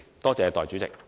多謝代理主席。